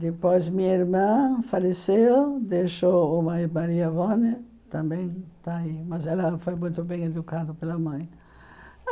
Depois, minha irmã faleceu, deixou e a avó também, mas ela foi muito bem educada pela mãe.